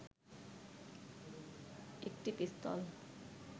একটি পিস্তল